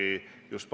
Andres Metsoja, palun!